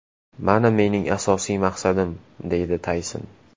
Mana mening asosiy maqsadim”, deydi Tayson.